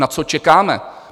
Na co čekáme?